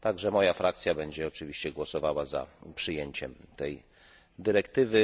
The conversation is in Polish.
Moja frakcja będzie oczywiście głosowała za przyjęciem tej dyrektywy.